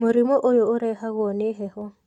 Mũrimũ oyũ ũrehagwo nĩ heho.